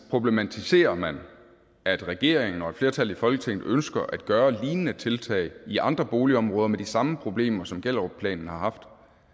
problematiserer man at regeringen og et flertal i folketinget ønsker at gøre lignende tiltag i andre boligområder med de samme problemer som gellerupplanen har haft